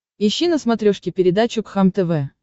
ищи на смотрешке передачу кхлм тв